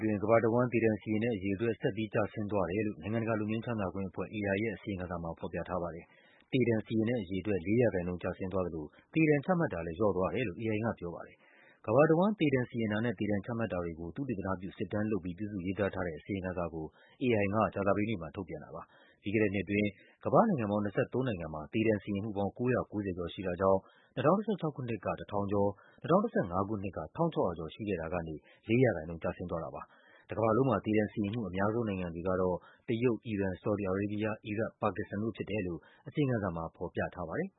တွင်း ကမ္ဘာတဝန်း သေဒဏ်စီရင်တဲ့အရေအတွက် ဆက်ပြီး ကျဆင်းသွားတယ်လို့ နိုင်ငံတကာ လွတ်ငြိမ်းချမ်းသာ ခွင့်အဖွဲ့ AI ရဲ့ အစီရင်ခံစာမှာ ဖော်ပြထားပါတယ်။ သေဒဏ်စီရင်တဲ့အရေအတွက် ၄% ကျဆင်းသွားသလို သေဒဏ်ချမှတ်တာ လည်း လျော့သွားတယ်လို့ AI ကပြောပါတယ်။ ကမ္ဘာတဝန်း သေဒဏ်စီရင်တာနဲ့ သေဒဏ်ချမှတ်တာတွေကို သုတေသနပြု စစ်တမ်းလုပ်ပြီး ပြုစုရေးသားထားတဲ့ အစီရင်ခံစာကို AI က ကြာသပတေးနေ့မှာ ထုတ်ပြန်တာပါ။ ပြီးခဲ့တဲ့နှစ်အတွင်း ကမ္ဘာ့နိုင်ငံပေါင်း ၂၃ နိုင်ငံမှာ သေဒဏ်စီရင်မှုပေါင်း ၉၉၀ ကျော် ရှိတာကြောင့် ၂၀၁၆ ခုနှစ်က ၁,၀၀၀ (၁,၀၃၂) ကျော်၊ ၂၀၁၅ ခုနှစ်က ၁,၆၀၀ (၁,၆၃၄) ကျော် ရှိခဲ့တာကနေ ၄% ကျဆင်းသွား တာပါ။ တကမ္ဘာလုံးမှာ သေဒဏ်စီရင်မှု အများဆုံးနိုင်ငံတွေကတော့ တရုတ်၊ အီရန်၊ ဆော်ဒီ အာရေးဘီးယား၊ အီရတ်၊ ပါကစ္စတန်တို့ဖြစ် တယ်လို့ အစီရင်ခံစာမှာဖော်ပြထားပါတယ်